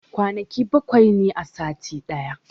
Kwanaki bawai ne a sati daya